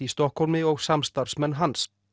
í Stokkhólmi og samstarfsmenn hans